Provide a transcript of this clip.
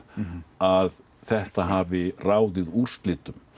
að þetta hafi ráðið úrslitum